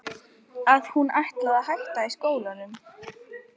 Að hún ætlaði að hætta alveg í skólanum.